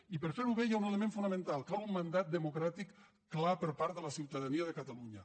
i per fer ho bé hi ha un element fonamental cal un mandat democràtic clar per part de la ciutadania de catalunya